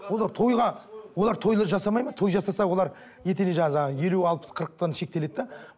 олар тойға олар тойды жасамайды ма той жасаса олар етене елу алпыс қырықтан шектеледі де